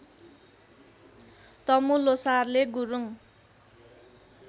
तमु ल्होसारले गुरूङ